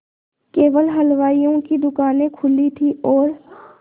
केवल हलवाइयों की दूकानें खुली थी और